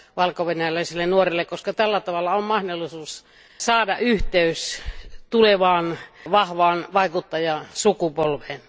valkovenäläisille nuorille, koska tällä tavalla on mahdollisuus saada yhteys tulevaan vahvaan vaikuttajasukupolveen.